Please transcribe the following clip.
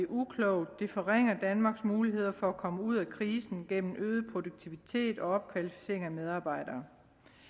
uklogt og det forringer danmarks muligheder for at komme ud af krisen gennem øget produktivitet og opkvalificering af medarbejdere